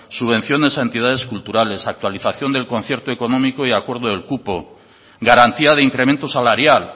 subvenciones a entidades culturales actualización del concierto económico y acuerdo del cupo garantía de incremento salarial